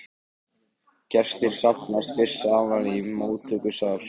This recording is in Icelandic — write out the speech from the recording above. Gestir safnast fyrst saman í móttökusal.